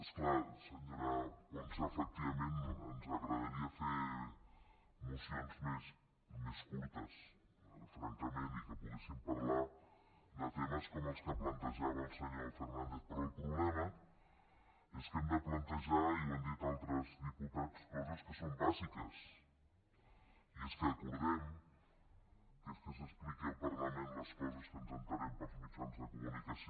és clar senyora ponsa efectivament ens agradaria fer mocions més curtes francament i que poguéssim parlar de temes com els que plantejava el senyor fernàndez però el problema és que hem de plantejar i ho han dit altres diputats coses que són bàsiques i és que acordem que s’expliquin al parlament les coses de què ens assabentem pels mitjans de comunicació